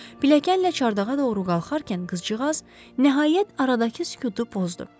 Pilləkənlə çardağa doğru qalxarkən qızcığaz nəhayət aradakı sükutu pozdu.